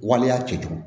Waleya cɛjugu